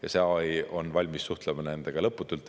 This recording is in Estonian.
Ja see AI on valmis suhtlema nendega lõputult.